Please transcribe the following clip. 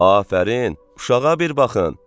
Afərin, uşağa bir baxın.